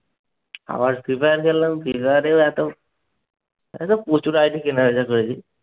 আবার free fire খেললাম। free fire এও এত। আরে প্রচুর ID কেনাবেচা করেছি।